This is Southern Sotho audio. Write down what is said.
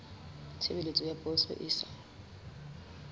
tshebeletso ya poso e sa